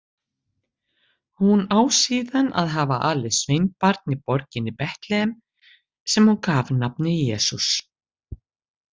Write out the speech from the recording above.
Hún á síðan að hafa alið sveinbarn í borginni Betlehem sem hún gaf nafnið Jesús.